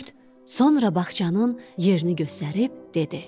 Kürd sonra bağçanın yerini göstərib dedi: